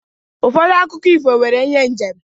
Ụfọdụ akụkọ ifo nwere ihe njem.